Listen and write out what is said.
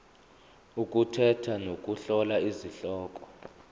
ukukhetha nokuhlola izihloko